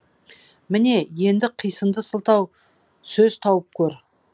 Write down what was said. міне енді қисынды сылтау сөз тауып көр